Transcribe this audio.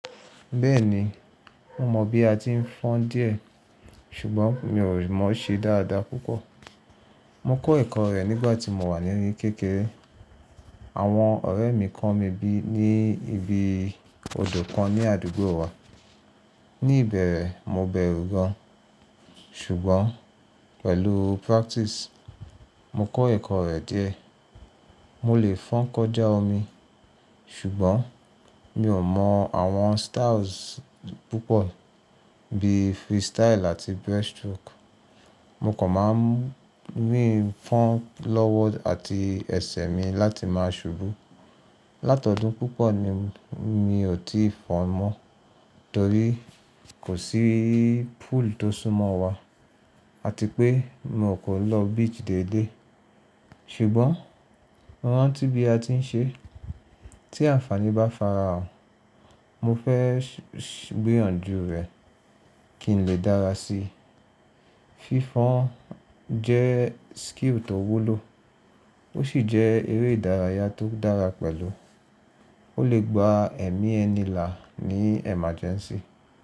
Bẹ́ẹ̀ni, mo mọ̀ bí a ti ń fọ́n díẹ̀ ṣùgbọ́n mi ò rí mọ́ ṣe dáadáa púpọ̀. Mo kọ́ ẹ̀kọ́ rẹ̀ nígbà tí mo wà ní kékeré. Àwọn ọ̀rẹ́ mi kọ́ mi bí ní ibi odò kan ní àdúgbò wa. Ni ìbẹ̀rẹ̀, mo bẹ̀rù gan-an ṣùgbọ́n pẹ̀lú practice, mo kọ́ ẹ̀kọ́ rẹ̀ díẹ̀. Mo lè fọ́n kọjá omi ṣùgbọ́n mi ò mọ̀ àwọn styles púpọ̀ bí freestyle àti breaststroke. Mo kàn máa ń rìn fọ́n lọ́wọ́ àti ẹ̀sẹ̀ mi láti máa ṣubú. Láti ọdún púpọ̀ ni mi ò tí fọ́n mọ́ torí kò sí pool tó súnmọ́ wa àti pé mi ò kọ́ lọ beach dédé. Ṣùgbọ́n mo rántí bí a ti ń ṣe. Tí àǹfààní bá farahàn, mo fẹ́ gbìyànjú rẹ̀ kí n lè dára sí i. Fífọ́n jẹ́ skill tó wúlò ó sì jẹ́ eré ìdárayá tó dára pẹ̀lú. Ó lè gba ẹ̀mí ẹni là ní emergency.